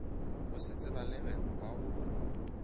go se tsebalege wa go